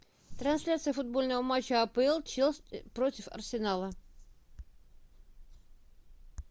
трансляция футбольного матча апл челси против арсенала